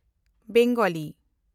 Bangla